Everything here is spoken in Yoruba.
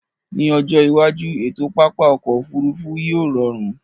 Ní ọjọ́ iwájú, ètò pápá ọkọ̀ Òfurufú yíò rọrùn